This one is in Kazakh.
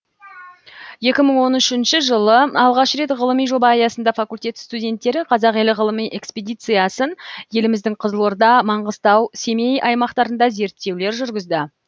екі мың он үшінші жылы алғаш рет ғылыми жоба аясында факультет студенттері қазақ елі ғылыми экспедициясын еліміздің қызылорда маңғыстау семей аймақтарында зерттеулер жүргізді